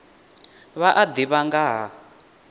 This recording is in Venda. vha a ḓivha nga ha